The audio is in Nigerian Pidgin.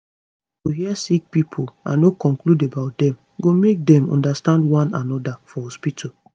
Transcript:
to hear sick pipo and no conclude about dem go make dem understand one anoda for hospitu